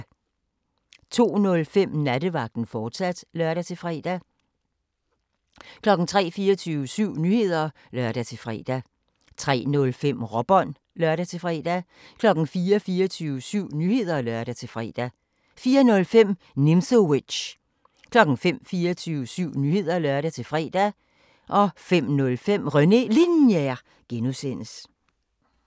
02:05: Nattevagten, fortsat (lør-fre) 03:00: 24syv Nyheder (lør-fre) 03:05: Råbånd (lør-fre) 04:00: 24syv Nyheder (lør-fre) 04:05: Nimzowitsch 05:00: 24syv Nyheder (lør-fre) 05:05: René Linjer (G)